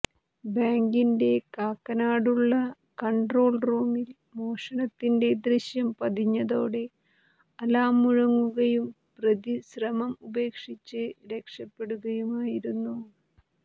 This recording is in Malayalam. ബാങ്കിന്റെ കാക്കനാടുള്ള കൺട്രോൾ റൂമിൽ മോഷണത്തിന്റെ ദൃശ്യം പതിഞ്ഞതോടെ അലാം മുഴങ്ങുകയും പ്രതി ശ്രമം ഉപേക്ഷിച്ച് രക്ഷപ്പെടുകയുമായിരുന്നു